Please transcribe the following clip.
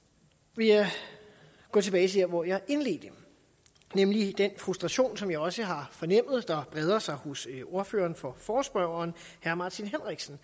vil jeg gå tilbage til der hvor jeg indledte nemlig den frustration som jeg også har fornemmet breder sig hos ordføreren for forespørgerne herre martin henriksen